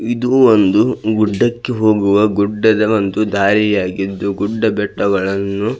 ಇದು ಒಂದು ಗುಡ್ಡಕ್ಕೆ ಹೋಗುವ ಗುಡ್ಡದ ಒಂದು ದಾರಿ ಆಗಿದ್ದು ಗುಡ್ಡಬೆಟ್ಟಗಳನ್ನು --